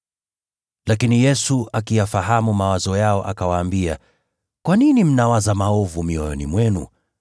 Lakini Yesu akiyafahamu mawazo yao, akawaambia, “Kwa nini mnawaza maovu mioyoni mwenu?